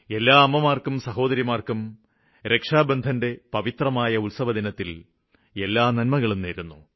എല്ലാ അമ്മമാര്ക്കും സഹോദരിമാര്ക്കും രക്ഷാബന്ധന്റെ പവിത്രമായ ഉത്സവദിനത്തില് എല്ലാ നന്മകളും നേരുന്നു